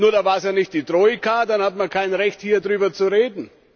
Nur war es da nicht die Troika, dann hat man kein Recht, hier darüber zu reden.